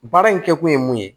Baara in kɛkun ye mun ye